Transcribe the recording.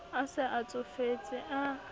a se a tsofetse a